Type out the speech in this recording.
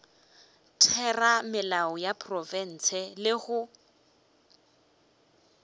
theramelao ya profense le go